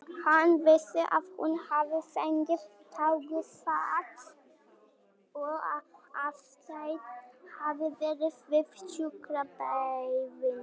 Hann vissi að hún hafði fengið taugaáfall og að Aðalsteinn hafði verið við sjúkrabeðinn.